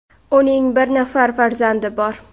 Uning bir nafar farzandi bor.